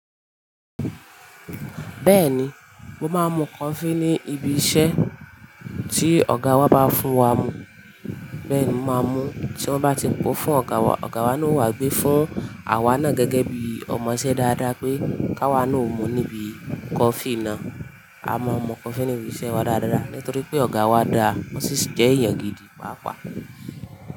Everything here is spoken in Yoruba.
Bẹ́ẹ̀ni, mo máa ń mu coffee ní ibi iṣẹ́ tí ọ̀gá wa bá fún wa mu. Bẹ́ẹ̀ ni màá mú tí wọ́n bá ti po fún ọ̀gá wa. Ọ̀gá wa ni wà gbé fún àwa náà gẹ́gẹ́ bí ọmọṣẹ́ dáadáa pé ká wa naa ó mu níbi coffee náà. A máa ń mu coffee ní ibi iṣẹ́ wa dáadáa nítorí pé ọ̀gá wa dá ọ́ sí jẹ́ ìyàn gidi, pàápàá.